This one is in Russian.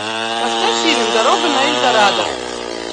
поставь фильм дорога на эльдорадо